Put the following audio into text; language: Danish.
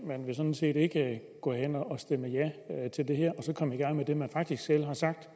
man vil sådan set ikke gå hen og stemme ja til det her og så komme i gang med det man faktisk selv